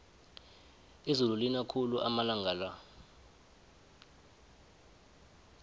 izulu lina khulu amalanga la